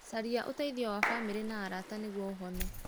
Caria ũteithio wa famĩrĩ na arata nĩgũo ũhone.